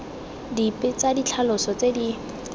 dipe tsa ditlhaloso tse di